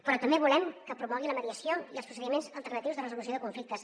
però també volem que promogui la mediació i els procediments alternatius de resolució de conflictes